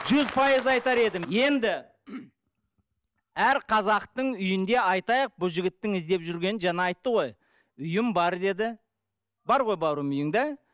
жүз пайыз айтар едім енді әр қазақтың үйінде айтайық бұл жігіттің іздеп жүргені жаңа айтты ғой үйім бар деді бар ғой бауырым үйің да